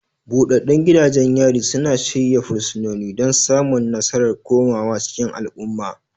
Buɗaɗɗun gidajen yari suna shirya fursunoni don samun nasarar komawa cikin al'umma.